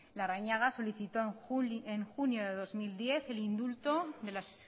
larrañaga solicitó en junio de dos mil diez el indulto de las